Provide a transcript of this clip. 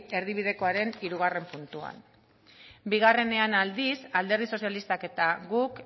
erdibidekoaren hirugarrena puntuan biean aldiz alderdi sozialistak eta guk